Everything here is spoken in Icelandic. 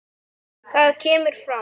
Þar kemur fram